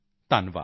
ਧੰਨਵਾਦ